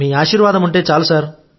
మీ ఆశీర్వాదముంటే చాలు